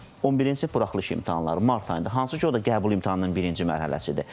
11-ci buraxılış imtahanları mart ayında, hansı ki, o da qəbul imtahanının birinci mərhələsidir.